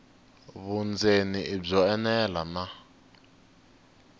vundzeni i byo enela na